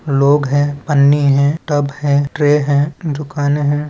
लोग है पन्नी है टब है ट्रे है दुकाने है।